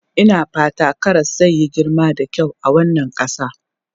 Ina fata karas zai yi girma da kyau a wannan ƙasa.